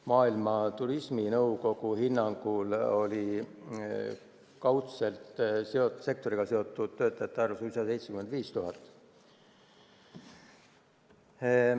Maailma turisminõukogu hinnangul oli kaudselt sektoriga seotud töötajate arv suisa 75 000.